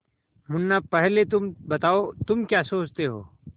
मुन्ना पहले तुम बताओ तुम क्या सोचते हो